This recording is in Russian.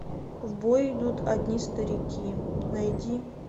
в бой идут одни старики найди